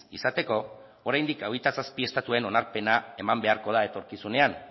izateko oraindik hogeita zazpi estatuen onarpena eman beharko da etorkizunean